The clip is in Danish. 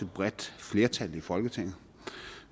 bredt flertal i folketinget